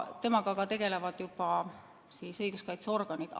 Temaga tegelevad juba õiguskaitseorganid.